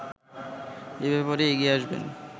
এ ব্যাপারে এগিয়ে আসবেন